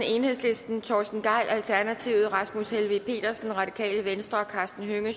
torsten gejl rasmus helveg petersen og karsten hønge